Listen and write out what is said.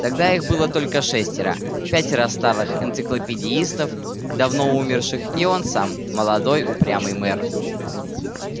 тогда их было только шестеро пятеро старых энциклопедистов давно умерших и он сам молодой упрямый мэр